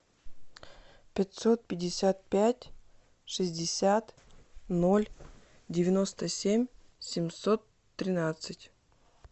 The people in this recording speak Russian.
пятьсот пятьдесят пять шестьдесят ноль девяносто семь семьсот тринадцать